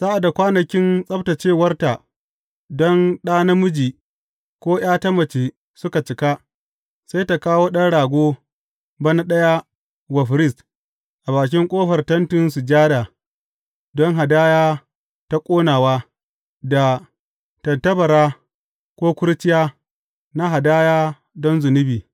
Sa’ad da kwanakin tsabtaccewarta don ɗa namiji ko ’ya ta mace suka cika, sai ta kawo ɗan rago bana ɗaya wa firist a bakin ƙofar Tentin Sujada don hadaya ta ƙonawa da tattabara ko kurciya na hadaya don zunubi.